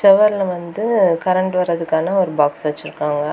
செவர்ல வந்து கரண்ட் வரதுக்கான ஒரு பாக்ஸ் வெச்சிருக்காங்க.